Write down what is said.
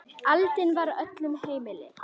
Aðild var öllum heimil.